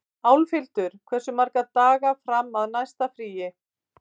Álfhildur, hversu margir dagar fram að næsta fríi?